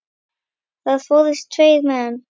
Þar fórust tveir menn.